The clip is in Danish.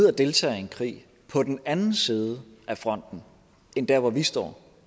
at deltage i en krig på den anden side af fronten end der hvor vi står